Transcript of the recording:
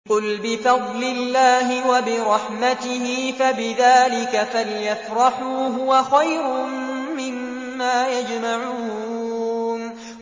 قُلْ بِفَضْلِ اللَّهِ وَبِرَحْمَتِهِ فَبِذَٰلِكَ فَلْيَفْرَحُوا هُوَ خَيْرٌ مِّمَّا يَجْمَعُونَ